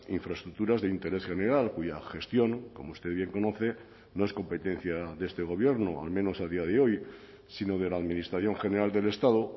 infraestructuras de interés general cuya gestión como usted bien conoce no es competencia de este gobierno o al menos a día de hoy sino de la administración general del estado